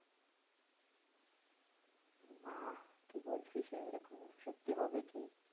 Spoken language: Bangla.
বাহ্ কি বলছিস রে, এরকম সত্যি হবে কি?